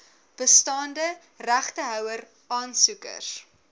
bestaande regtehouer aansoekers